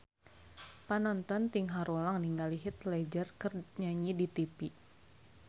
Panonton ting haruleng ningali Heath Ledger keur nyanyi di tipi